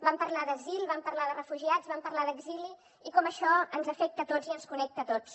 vam parlar d’asil vam parlar de refugiats vam parlar d’exili i com això ens afecta a tots i ens connecta a tots